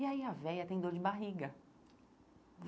E aí a véia tem dor de barriga.